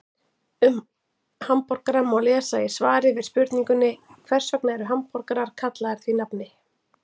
Um hamborgara má lesa í svari við spurningunni Hvers vegna eru hamborgarar kallaðir því nafni?